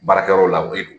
Baarakɛyɔrɔ la ko i don